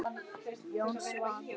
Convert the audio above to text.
Jón Svan.